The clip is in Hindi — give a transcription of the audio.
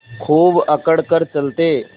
खूब अकड़ कर चलते